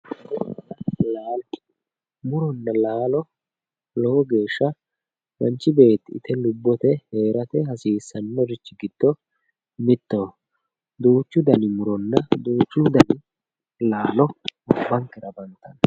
Muronna laalo muronna laalo lowo geeshsha manchi beetti ite lubbote heerate hasiissannorichi giddo mittoho duuchu dani muronna duuchu dani laalo gobbankera afantanno